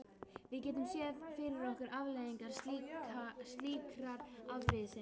Við getum séð fyrir okkur afleiðingar slíkrar afbrýðisemi.